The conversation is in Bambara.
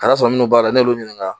Ka sɔrɔ minnu b'a la n'olu y'u ɲinika